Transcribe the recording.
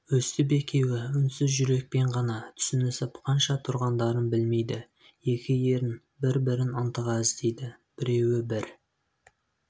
өстіп екеуі үнсіз жүрекпен ғана түсінісіп қанша тұрғандарын білмейді екі ерін бір-бірін ынтыға іздейді біреуі бір